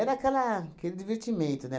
aquela aquele divertimento, né?